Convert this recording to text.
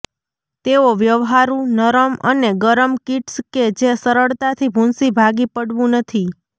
તેઓ વ્યવહારુ નરમ અને ગરમ કિટ્સ કે જે સરળતાથી ભૂંસી ભાંગી પડવું નથી